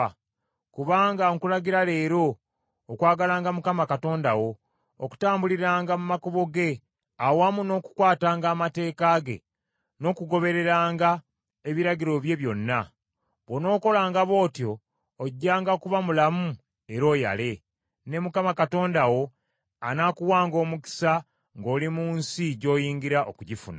Kubanga nkulagira leero okwagalanga Mukama Katonda wo, okutambuliranga mu makubo ge, awamu n’okukwatanga amateeka ge n’okugobereranga ebiragiro bye byonna. Bw’onookolanga bw’otyo ojjanga kuba mulamu era oyale, ne Mukama Katonda wo anaakuwanga omukisa ng’oli mu nsi gy’oyingira okugifuna.